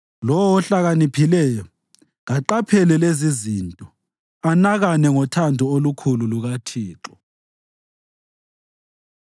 Lowo ohlakaniphileyo, kaqaphele lezizinto anakane ngothando olukhulu lukaThixo.